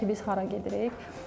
Yəni bilək ki, biz hara gedirik.